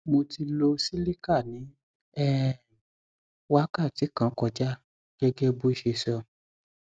mo ti lo cs] cilicar ní um wákàti kan kọjá gẹgẹ bọ ṣe sọ